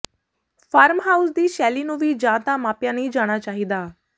farmhouse ਦੀ ਸ਼ੈਲੀ ਨੂੰ ਵੀ ਜਾਂ ਤਾਂ ਮਾਪਿਆ ਨਹੀਂ ਜਾਣਾ ਚਾਹੀਦਾ